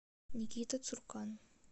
никита цуркан